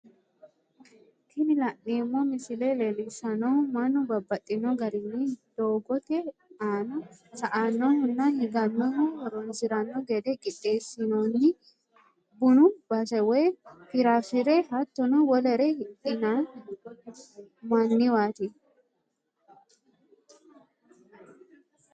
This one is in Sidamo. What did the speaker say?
Tini la'neemo misile leellishanohu mannu babaxxino garinni dogotte aanna sa'anohunna higanohu horonsiranno gede qixxeessinonni bunu base woyi firafire hattono wolere hidhimanniwati